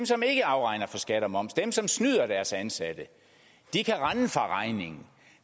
som ikke afregner for skat og moms dem som snyder deres ansatte kan rende fra regningen